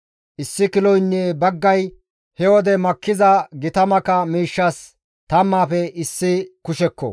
Issi kiloynne baggay he wode makkiza gita maka miishshas tammaafe issi kushekko.